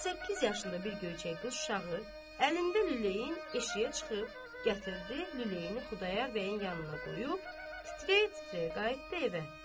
7-8 yaşında bir göyçək qız uşağı əlində lüləyin eşiyə çıxıb gətirdi lüləyini Xudayar bəyin yanına qoyub titrəyə-titrəyə qayıtdı evə.